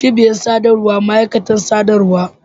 cibiyar sadarwa ma'aikatan sadarwa